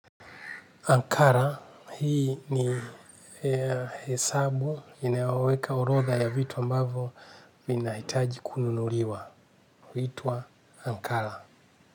Ankara, hii ni hesabu inayoweka urodha ya vitu ambavyo vinahitaji kununuliwa, huitwa Ankara.